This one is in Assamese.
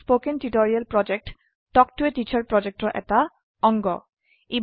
কথন শিক্ষণ প্ৰকল্প তাল্ক ত a টিচাৰ প্ৰকল্পৰ এটা অংগ